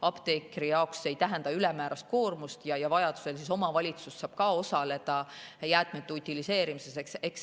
Apteekri jaoks see ei tähenda ülemäärast koormust ja vajadusel saab ka omavalitsus osaleda jäätmete utiliseerimises.